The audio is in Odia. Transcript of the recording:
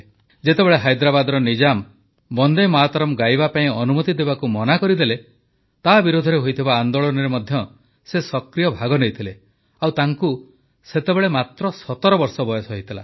ଯେତେବେଳେ ହାଇଦ୍ରାବାଦର ନିଜାମ ବନେ୍ଦ ମାତରମ୍ ଗାଇବା ପାଇଁ ଅନୁମତି ଦେବାକୁ ମନା କରିଦେଲେ ତା ବିରୋଧରେ ହୋଇଥିବା ଆନେ୍ଦାଳନରେ ମଧ୍ୟ ସେ ସକ୍ରିୟ ଭାଗ ନେଇଥିଲେ ଆଉ ତାଙ୍କୁ ସେତେବେଳେ ମାତ୍ର ୧୭ ବର୍ଷ ବୟସ ହୋଇଥିଲା